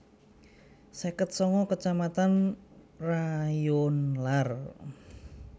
seket sanga kecamatan rayonlar